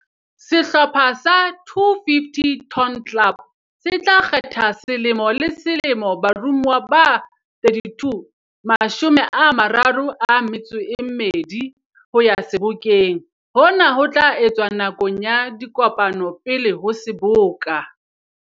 Sehlopha sa 250 Ton Club se tla kgetha selemo le selemo baromuwa ba 32, mashome a mararo a metso e mmedi, ho ya Sebokeng. Hona ho tla etswa nakong ya dikopano pele ho Seboka.